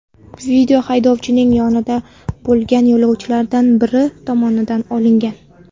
Video haydovchining yonida bo‘lgan yo‘lovchilardan biri tomonidan olingan.